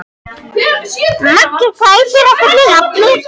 Maggi, hvað heitir þú fullu nafni?